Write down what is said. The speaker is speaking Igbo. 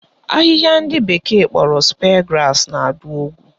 Ahịhịa ndị bekee kpọrọ spear grass na-adụ ogwu